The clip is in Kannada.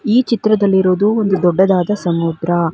ಈ ಚಿತ್ರದಲ್ಲಿ ಇರೋದು ಒಂದು ದೊಡ್ಡದಾದ ಸಮುದ್ರ.